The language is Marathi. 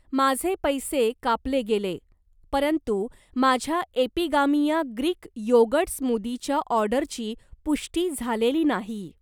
माझे पैसे कापले गेले, परंतु माझ्या एपिगामिया ग्रीक योगर्ट स्मूदीच्या ऑर्डरची पुष्टी झालेली नाही.